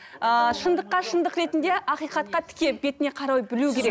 ыыы шындыққа шындық ретінде ақиқатқа тіке бетіне қарау білу керек